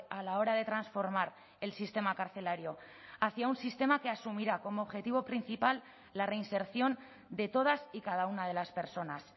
a la hora de transformar el sistema carcelario hacia un sistema que asumirá como objetivo principal la reinserción de todas y cada una de las personas